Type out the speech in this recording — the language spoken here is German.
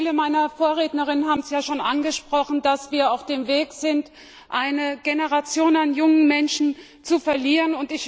Viele meiner Vorredner haben es ja schon angesprochen, dass wir auf dem Weg sind, eine Generation an jungen Menschen zu verlieren.